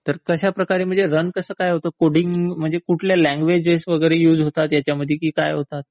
तर कश्या प्रकारे म्हणजे रन कसं काय होतं? म्हणजे कोडिंग साठी कुठल्या लँग्वेज वैगेरे युज होतात ह्यांच्यामध्ये की काय होतात?